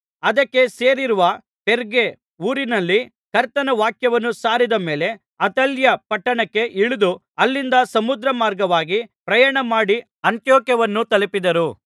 ಅದಕ್ಕೆ ಸೇರಿರುವ ಪೆರ್ಗೆ ಊರಿನಲ್ಲಿ ಕರ್ತನ ವಾಕ್ಯವನ್ನು ಸಾರಿದ ಮೇಲೆ ಅತಾಲ್ಯ ಪಟ್ಟಣಕ್ಕೆ ಇಳಿದು ಅಲ್ಲಿಂದ ಸಮುದ್ರಮಾರ್ಗವಾಗಿ ಪ್ರಯಾಣಮಾಡಿ ಅಂತಿಯೋಕ್ಯವನ್ನು ತಲುಪಿದರು